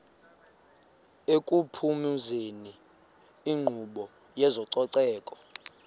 ekuphumezeni inkqubo yezococeko